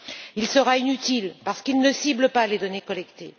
Il sera inutile parce qu'il ne cible pas les données collectées.